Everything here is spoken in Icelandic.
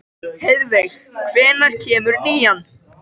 Heiðveig, hvenær kemur nían?